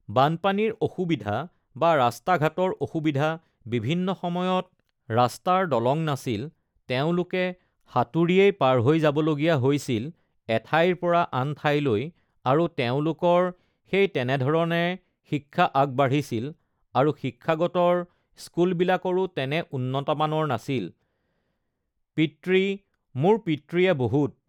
বানপানীৰ অসুবিধা বা ৰাস্তা-ঘাটৰ অসুবিধা, বিভিন্ন সময়ত ৰাস্তাৰ দলং নাছিল, তেওঁলোকে ugh সাঁতুৰিয়েই ugh পাৰ হৈ যাব লগীয়া হৈছিল এঠাইৰ পৰা আন ঠাইলৈ আৰু তেওঁলোকৰ সেই তেনেধৰণে শিক্ষা আগবাঢ়িছিল আৰু শিক্ষাগতৰ স্কুলবিলাকৰো তেনে উন্নতমানৰ নাছিল uhh পিতৃ মোৰ পিতৃয়ে বহুত